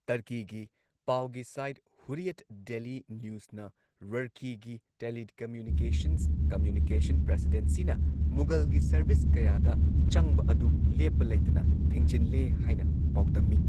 ꯇꯔꯀꯤꯒꯤ ꯄꯥꯎꯒꯤ site Hurriyet Daily ꯅ꯭ꯌꯨꯁꯅ ꯔꯔꯀꯤꯒꯤ ꯇꯦꯂꯤꯀꯝꯃ꯭ꯌꯨꯅꯤꯀꯦꯁꯟꯁ ꯀꯝꯃ꯭ꯌꯨꯅꯤꯀꯦꯁꯟ ꯄ꯭ꯔꯁꯤꯗꯦꯟꯁꯤꯅ ꯃꯨꯒꯜꯒꯤ ꯁꯔꯚꯤꯁ ꯀꯌꯥꯗ ꯆꯪꯕ ꯑꯗꯨ ꯂꯦꯞꯄ ꯂꯩꯇꯅ ꯊꯤꯡꯖꯤꯟꯂꯦ ꯍꯥꯏꯅ ꯄꯥꯎꯗꯝꯃꯤ꯫